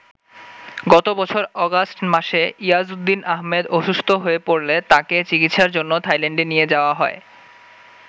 গত বছর অগাস্ট মাসে ইয়াজউদ্দিন আহম্মেদ অসুস্থ হয়ে পড়লে তাঁকে চিকিৎসার জন্য থাইল্যান্ডে নিয়ে যাওয়া হয়।